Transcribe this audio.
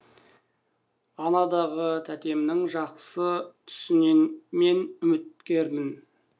анадағы тәтемнің жақсы түсінен мен үміткермін